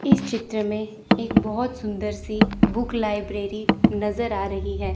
इस चित्र मे एक बहोत सुंदर सी बुक लाइब्रेरी नज़र आ रही है।